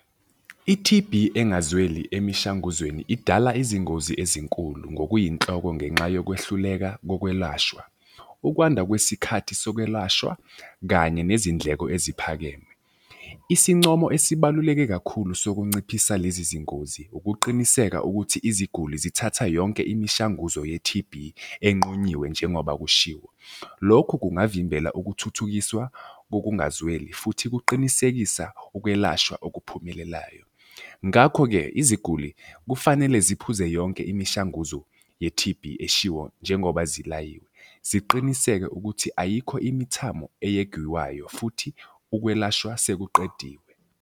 I-T_B engazweli emishanguzweni idala izingozi ezinkulu ngokuyinhloko ngenxa yokwehluleka kokwelashwa. Ukwanda kwesikhathi sokwelashwa kanye nezindleko eziphakeme. Isincomo esibaluleke kakhulu ssokunciphisa lezi zingozi, ukuqiniseka ukuthi iziguli zithatha yonke imishanguzo ye-T_B enqunyiwe njengoba kushiwo. Lokhu kungavimbela ukuthuthukiswa kokungazweli futhi kuqinisekisa ukwelashwa okuphumelelayo. Ngakho-ke iziguli kufanele ziphuze yonke imishanguzo ye-T_B eshiwo njengoba zilayiwe. Ziqiniseke ukuthi ayikho imithamo eyegiwayo futhi ukwelashwa sekuqediwe.